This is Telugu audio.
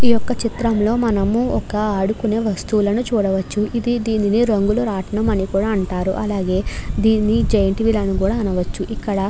ఈ ఒక చిత్రంలో మనము ఒక ఆదుకునే వస్తువులను చూడవచ్చు. ఇది దీనిని రంగుల రత్నం అని కూడా అంటారు. అలాగే దీనిని జేన్టవీల్ అని కూడా అనవచ్చు. ఇక్కడ --